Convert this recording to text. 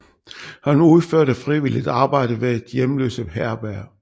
Han udførte frivilligt arbejde ved et hjemløse herberg